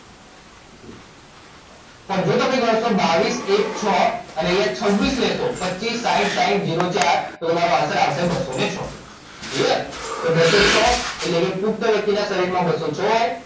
પણ જો તમે ત્રણસો બાવીસ એક છ અને અહીંયા છવ્વીસ લેશો પચ્ચીસ સાહીઠ સાહીઠ જીરો ચાર તો તમારો આન્સર આવશે બસ્સો ને છ ક્લીયર તો બસ્સો છ એટલે કે પુખ્ત વ્યક્તિ ના શરીર માં બસ્સો છ હોય